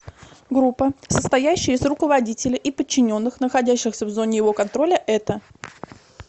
группа состоящая из руководителя и подчиненных находящихся в зоне его контроля это